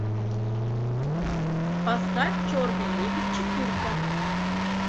поставь черный лебедь четырка